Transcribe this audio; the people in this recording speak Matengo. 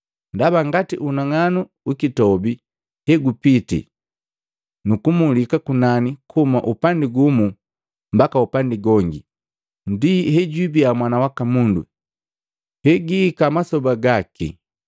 Ndaba ngati unang'anu ukitobi, hegupiti nukumulika kunani kuhumi upandi gumu mbaka upandi gongi, ndi hejwibia Mwana waka Mundu hejiiki mmasoba gaki.